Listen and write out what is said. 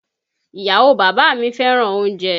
Ìyàwó bàbá mi fẹ́ràn oúnjẹ